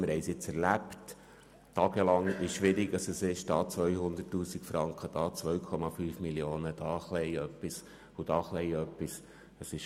Wir haben es jetzt tagelang erlebt, wie schwierig es ist, hier 200 000 Franken, dort 2,5 Mio. Franken, hier ein bisschen etwas und dort ein bisschen etwas einzusparen.